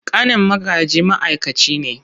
Ƙanin Magaji ma’aikaci ne.